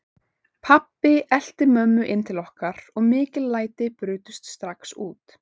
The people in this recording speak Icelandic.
Pabbi elti mömmu inn til okkar og mikil læti brutust strax út.